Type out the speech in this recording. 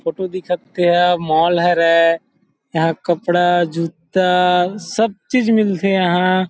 photo दिखत तेहा mall हरे यहाँ कपड़ा जूता सब चीज़ मिलथे यहाँ --